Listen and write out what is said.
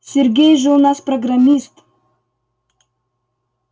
сергей же у нас программист